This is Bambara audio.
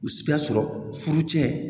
U si y'a sɔrɔ furu cɛn